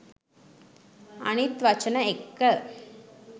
අනිත් වචන එක්ක